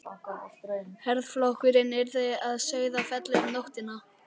Herflokkurinn yrði að Sauðafelli um nóttina.